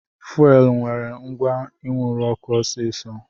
Fuelu nwere agwa inwuru ọkụ ọsisi